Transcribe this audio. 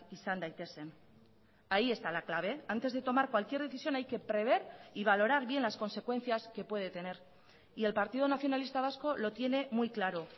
izan daitezen ahí está la clave antes de tomar cualquier decisión hay que prever y valorar bien las consecuencias que puede tener y el partido nacionalista vasco lo tiene muy claro